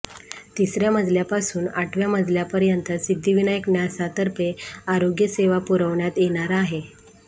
तिसऱ्या मजल्यापासून आठव्या मजल्यापर्यंत सिद्धिविनायक न्यासातर्फे आरोग्यसेवा पुरवण्यात येणार आहे